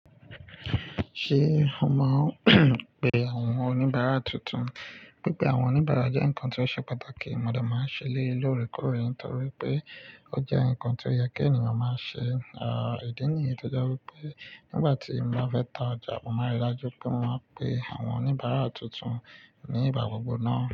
Ṣé ó máa pe àwọn oníbàárà tuntun? Pípé àwọn oníbàárà jẹ́ ǹkan tó ṣe pàtàkì. Mo de máa ń ṣe eléyi lóòrèkóòrè torí pé ó jẹ́ ǹkan tó yẹ kí ènìyàn máa ṣe. Idíì níyen tò jé wipé nígbà tí mo bá fẹ́ ta ọjà, mo máa rí i dájú pé mo máa pe àwọn oníbàárà tuntun ní ìgbà gbogbo náà.